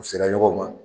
U sera ɲɔgɔn ma